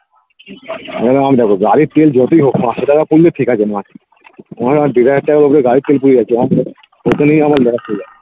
এই যেমন আমার দেখো গাড়ির তেল যতই হোক পাঁচশো টাকার পুড়লে ঠিক আছে মাসে ওখানে আমার দেড় হাজার টাকার ওপরে গাড়ির তেল পুড়ে যাচ্ছে ওতেই আমার loss